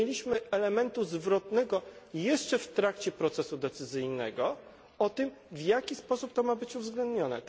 Nie mieliśmy elementu zwrotnego jeszcze w trakcie procesu decyzyjnego o tym, w jaki sposób to ma być uwzględnione.